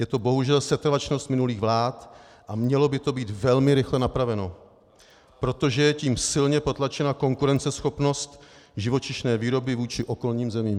Je to bohužel setrvačnost minulých vlád a mělo by to být velmi rychle napraveno, protože je tím silně potlačena konkurenceschopnost živočišné výroby vůči okolním zemím.